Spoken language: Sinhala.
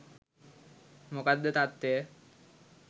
මොකක්ද තත්ත්වය.